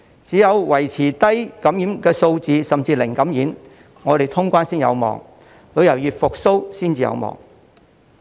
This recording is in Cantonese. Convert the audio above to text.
只有維持低感染數字，甚至"零感染"，我們才有望通關，旅遊業才有望復蘇。